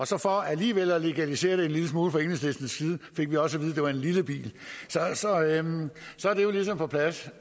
så for alligevel at legalisere det en lille smule fra enhedslistens side fik vi også at vide at det var en lille bil så er det jo ligesom på plads